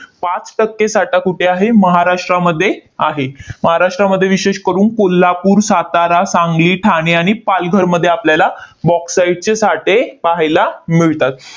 पाच टक्के साठा कुठे आहे? महाराष्ट्रामध्ये आहे. महाराष्ट्रामध्ये विशेष करून कोल्हापूर, सातारा, सांगली, ठाणे आणि पालघरमध्ये आपल्याला bauxite चे साठे पाहायला मिळतात.